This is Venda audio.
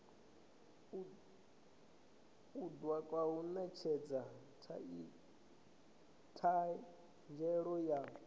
kundwa u netshedza thanziela ya